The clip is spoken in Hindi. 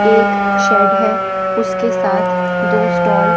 एक शेड है उसके साथ दो स्टॉल --